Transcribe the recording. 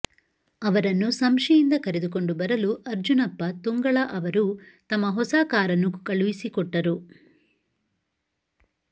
ಅವರನ್ನು ಸಂಶಿಯಿಂದ ಕರೆದುಕೊಂಡು ಬರಲು ಅರ್ಜುನಪ್ಪ ತುಂಗಳ ಅವರು ತಮ್ಮ ಹೊಸ ಕಾರನ್ನು ಕಳುಹಿಸಿಕೊಟ್ಟರು